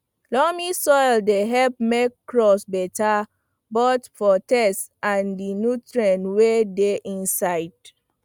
loamy soil dey help make crops beta both for taste and di nutrients wey dey inside